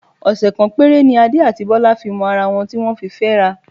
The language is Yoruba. Ọ̀sẹ̀ kan péré ni Adé àti Bọ́lá fi mọ ara wọn tí wọ́n fi fẹ́ra.